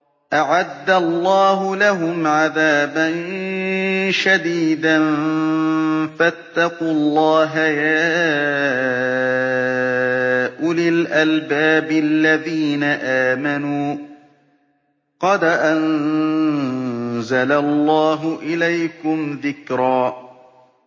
أَعَدَّ اللَّهُ لَهُمْ عَذَابًا شَدِيدًا ۖ فَاتَّقُوا اللَّهَ يَا أُولِي الْأَلْبَابِ الَّذِينَ آمَنُوا ۚ قَدْ أَنزَلَ اللَّهُ إِلَيْكُمْ ذِكْرًا